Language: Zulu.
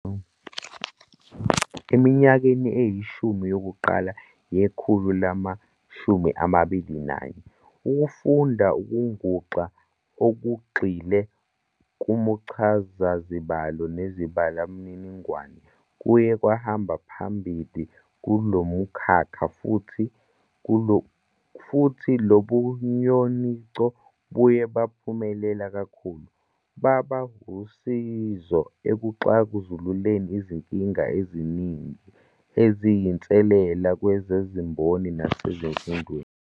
Eminyakeni eyishumi yokuqala yekhulu lama-21, ukufunda kwenguxa okugxile kumchazazibalo nezibalomininingo kuye kwahamba phambili kulomkhakha, futhi lobunyonico buye baphumelela kakhulu, baba usizo ekuxazululeni izinkinga eziningi eziyinselele kwezezimboni nasemfundweni.